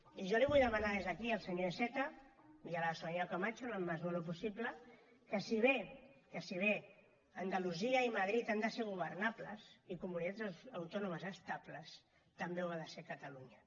i jo els vull demanar des d’aquí al senyor iceta i a la senyora camacho en la mesura del possible que si bé que si bé andalusia i madrid han de ser governables i comunitats autònomes estables també ho ha de ser catalunya